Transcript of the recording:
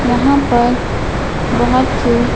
यहाँ पर बहुत से--